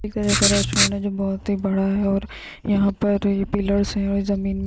एक रेस्टोरेंट है जो बहुत ही बड़ा है‌ और यहाँ पर ये पिलर्स हैं और ये जमीन में --